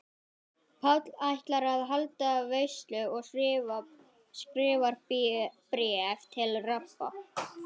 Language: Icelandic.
Páll ætlar að halda veislu og skrifar bréf til Rabba.